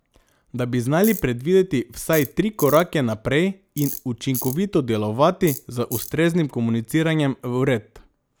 Da bi znali predvideti vsaj tri korake naprej in učinkovito delovati, z ustreznim komuniciranjem vred.